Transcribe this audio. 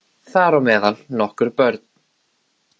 Þar á meðal nokkur börn